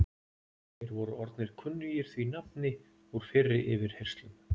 Þeir voru orðnir kunnugir því nafni úr fyrri yfirheyrslum.